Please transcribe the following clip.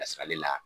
Ka sir'ale la